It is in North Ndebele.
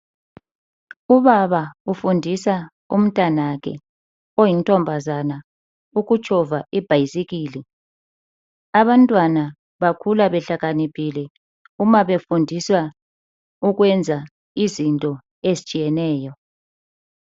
Ubaba ufundisa untanakhe oyintombazana ukutshova ibhayisikili. Abantwana bakhula behlakaniphile uma befundiswa ukwenza izinto ezitshiyeneyo.